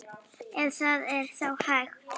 Ef það er þá hægt.